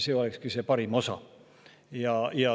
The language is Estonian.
See olekski see parim osa.